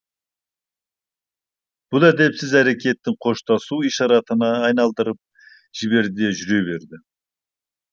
бұл әдепсіз әрекетін қоштасу ишаратына айналдырып жіберді де жүре берді